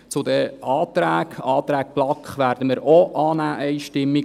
Zu den Anträgen: Den Antrag der BaK werden wir auch einstimmig annehmen.